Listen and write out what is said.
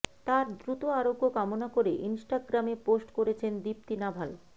তাঁর দ্রুত আরোগ্য কামনা করে ইনস্টাগ্রামে পোস্ট করেছেন দীপ্তি নাভাল